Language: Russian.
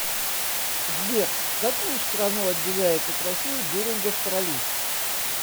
сбер какую страну отделяет от россии берингов пролив